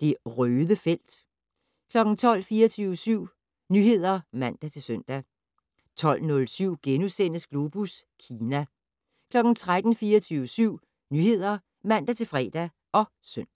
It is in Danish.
Det Røde felt 12:00: 24syv Nyheder (man-søn) 12:07: Globus Kina * 13:00: 24syv Nyheder (man-fre og søn)